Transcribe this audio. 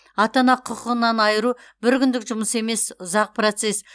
ата ана құқығынан айыру бір күндік жұмыс емес ұзақ процесс